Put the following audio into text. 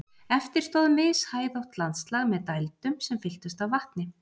eftir stóð mishæðótt landslag með dældum sem fylltust af vatni